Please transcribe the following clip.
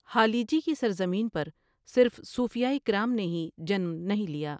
ہالیجی کی سرزمین پر صرف صوفیا کرام نے ہی جنم نہیں لیا۔